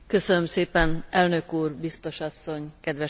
Elnök úr, biztos asszony, kedves kollégák!